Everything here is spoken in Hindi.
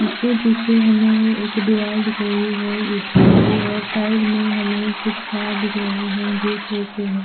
उसके पीछे हमे एक दीवाल दिख रही है एक साइड में हमे कुछ और दिख रहे है जो शो के है।